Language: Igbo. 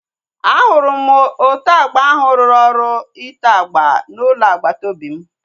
Ahụrụ m ote agba ahu ruru ọrụ ite agba na ụlọ agbata obi m